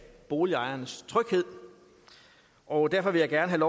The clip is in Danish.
boligejernes tryghed og derfor vil jeg gerne have